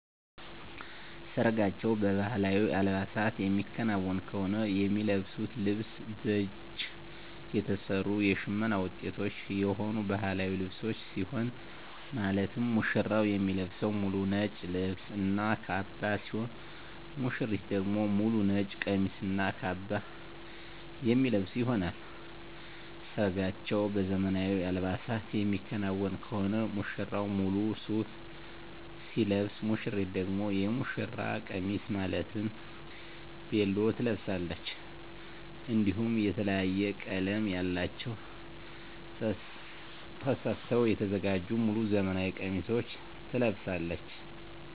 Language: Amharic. ሰርጋቸው በባህላዊ አልባሳት የሚከናወን ከሆነ የሚለብሱት ልብስ በእጅ የተሰሩ የሽመና ውጤቶች የሆኑ ባህላዊ ልብሶችን ሲሆን ማለትም ሙሽራው የሚለብሰው ሙሉ ነጭ ልብስ እና ካባ ሲሆን ሙሽሪት ደግሞ ሙሉ ነጭ ቀሚስ እና ካባ የሚለብሱ ይሆናል። ሰርጋቸው በዘመናዊ አልባሳት የሚከናወን ከሆነ ሙሽራው ሙሉ ሱፍ ሲለብስ ሙሽሪት ደግሞ የሙሽራ ቀሚስ ማለትም ቬሎ ትለብሳለች። እንዲሁም የተለያየ ቀለም ያላቸውን ተሰፍተው የተዘጋጁ ሙሉ ዘመናዊ ቀሚሶችን ትለብሳለች።